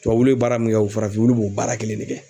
Tubabu wulu bɛ baara min kɛ o farafin wulu b'o baara kelen de kɛ.